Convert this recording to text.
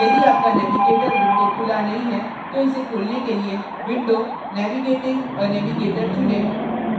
यदि आपका navigator window खुला नहीं है तो इसे खोलने के लिए window navigating a navigator चुनें